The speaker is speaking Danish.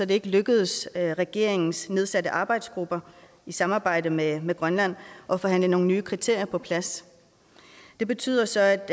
det ikke lykkedes regeringens nedsatte arbejdsgruppe i samarbejde med med grønland at forhandle nogle nye kriterier på plads det betyder så at